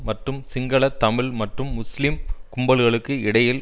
மற்றும் சிங்கள தமிழ் மற்றும் முஸ்லிம் கும்பல்களுக்கு இடையில்